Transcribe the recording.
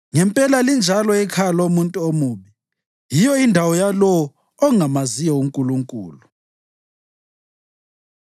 Ngempela linjalo ikhaya lomuntu omubi; yiyo indawo yalowo ongamaziyo uNkulunkulu.”